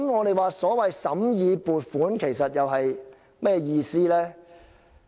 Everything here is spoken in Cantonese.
那麼，審議撥款又有甚麼意義呢？